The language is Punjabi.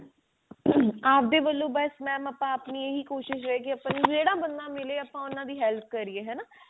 ਅਪ ਦੇ ਵਲੋਂ ਬੱਸ mam ਆਪਾਂ ਆਪਣੀ ਕੋਸ਼ਿਸ਼ ਰਹੇ ਗੀ ਜਿਹੜਾ ਬੰਦਾ ਮਿਲੇ ਆਪਾਂ ਉਹਨਾਂ ਦੀ help ਕਰੀਏ ਹਨਾ